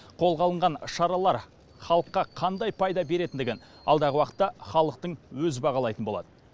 қолға алынған шаралар халыққа қандай пайда беретіндігін алдағы уақытта халықтың өзі бағалайтын болады